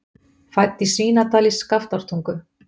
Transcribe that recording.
Fædd í Svínadal í Skaftártungu.